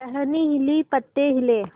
टहनी हिली पत्ते हिले